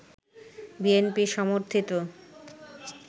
BNP সমর্থিত